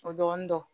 O dɔɔnin dɔn